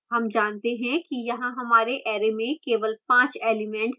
हम जानते हैं कि यहाँ हमारे अरै में केवल 5 elements हैं